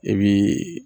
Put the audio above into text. E bi